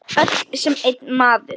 Öll sem einn maður.